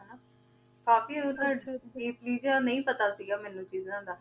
cafe ਅਹੁਜੇਨ ਦਾ ਨੀ ਪਤਾ ਸੇ ਗਾ ਮੀਨੁ ਚੀਜ਼ਾਂ ਦਾ